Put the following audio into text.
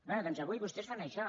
bé doncs avui vostès fan això